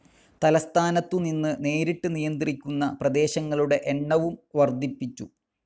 തലസ്ഥാനത്തുനിന്ന് നേരിട്ട് നിയന്ത്രിക്കുന്ന പ്രദേശങ്ങളുടെ എണ്ണവും വർദ്ധിപ്പിച്ചു.